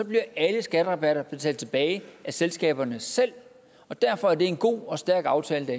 bliver alle skatterabatter betalt tilbage af selskaberne selv og derfor er det en god og stærk aftale